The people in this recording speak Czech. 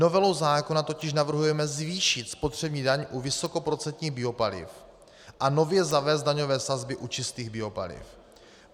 Novelou zákona totiž navrhujeme zvýšit spotřební daň u vysokoprocentních biopaliv a nově zavést daňové sazby u čistých biopaliv.